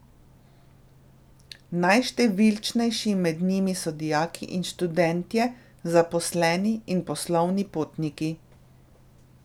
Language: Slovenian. Najštevilčnejši med njimi so dijaki in študentje, zaposleni in poslovni potniki.